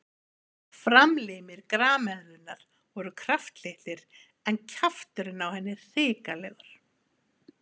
Framlimir grameðlunnar voru kraftlitlir en kjafturinn á henni hrikalegur.